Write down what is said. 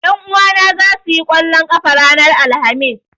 Ƴan uwana zasu yi ƙwallon ƙafa ranar Alhamis